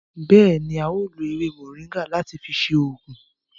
Béèni, a o lo ewé moringa láti fi ṣe oògùn